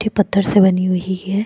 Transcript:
ये पत्थर से बनी हुई है।